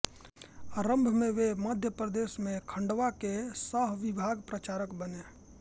आरम्भ में वे मध्यप्रदेश में खंडवा के सहविभाग प्रचारक बने